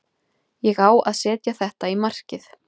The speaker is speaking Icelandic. Ég á að setja þetta í markið.